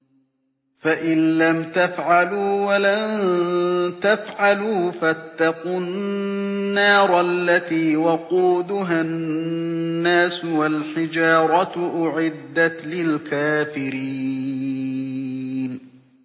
فَإِن لَّمْ تَفْعَلُوا وَلَن تَفْعَلُوا فَاتَّقُوا النَّارَ الَّتِي وَقُودُهَا النَّاسُ وَالْحِجَارَةُ ۖ أُعِدَّتْ لِلْكَافِرِينَ